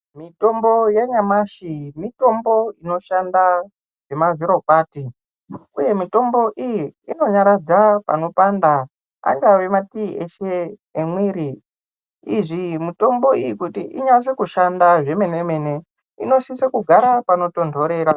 Mitombo yenyamashi, mitombo inoshanda zvema zvirokwati, uye mitombo iyi, inonyaradza panopanda angava matii ese emiiri. Izvi mutombo iyi kuti inyatse kushanda zvemene mene inosise kugara panotonhorera.